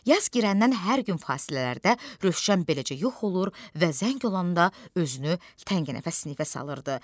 Yaz girəndən hər gün fasilələrdə Rövşən beləcə yox olur və zəng olanda özünü təngnəfəs sinifə salırdı.